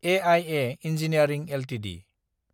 आइआ engineering Ltd